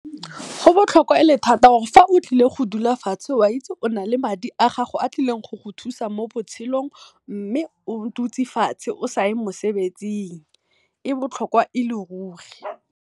Go botlhokwa e le thata gore ga o tlile go dula fo fatshe o na le madi a gago, a tlileng go go thusa mo botshelong mme o dutse fatshe o sa ye mosebetsing e botlhokwa e le ruri.